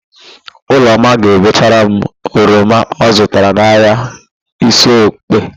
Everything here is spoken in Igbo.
Ụlọma ga-ebechara m oroma ọ zụtara n'ahịa Isiokpo.